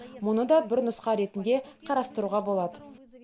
мұны да бір нұсқа ретінде қарастыруға болады